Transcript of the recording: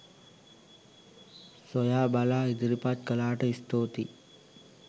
සොයා බලා ඉදිරිපත් කළාට ස්තුතියි